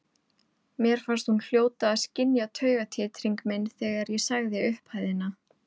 Mér fannst hún hljóta að skynja taugatitring minn þegar ég sagði upphæðina.